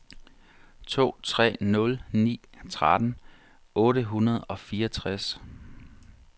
to tre nul ni tretten otte hundrede og fireogtres